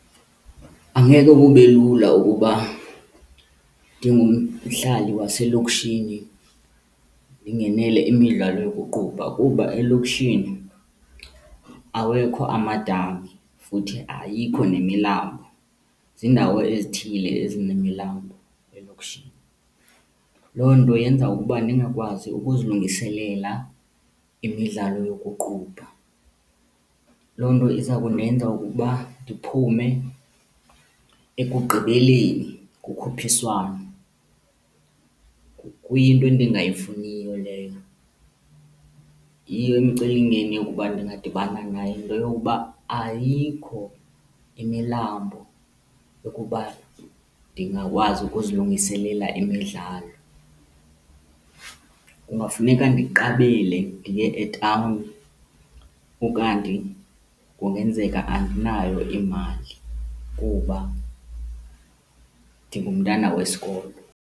Angeke kube lula ukuba ndingumhlali waselokishini ndingenele imidlalo yokuqubha kuba elokishini awekho amadami futhi ayikho nemilambo, ziindawo ezithile ezinemilambo elokishini. Loo nto yenza ukuba ndingakwazi ukuzilungiselela imidlalo yokuqubha. Loo nto iza kundenza ukuba ndiphume ekugqibeleni kukhuphiswano, kuyinto endingayifuniyo leyo. Yiyo imicelimngeni yokuba ndingadibana nayo yinto yokuba ayikho imilambo ukuba ndingakwazi ukuzilungiselela imidlalo. Kungafuneka ndiqabele ndiye etawuni, ukanti kungenzeka andinayo imali kuba ndingumntana wesikolo.